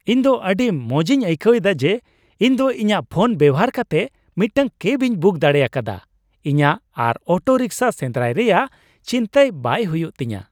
ᱤᱧ ᱫᱚ ᱟᱹᱰᱤ ᱢᱚᱡᱤᱧ ᱟᱹᱭᱠᱟᱹᱣᱮᱫᱟ ᱡᱮ ᱤᱧ ᱫᱚ ᱤᱧᱟᱜ ᱯᱷᱳᱱ ᱵᱮᱵᱚᱦᱟᱨ ᱠᱟᱛᱮᱫ ᱢᱤᱫᱴᱟᱝ ᱠᱮᱵᱤᱧ ᱵᱩᱠ ᱫᱟᱲᱮ ᱟᱠᱟᱫᱟ ᱾ ᱤᱧᱟᱜ ᱟᱨ ᱚᱴᱳᱨᱤᱠᱥᱟ ᱥᱮᱸᱫᱨᱟᱭ ᱨᱮᱭᱟᱜ ᱪᱤᱱᱛᱟᱹᱭ ᱵᱟᱝ ᱦᱩᱭᱩᱜ ᱛᱤᱧᱟ ᱾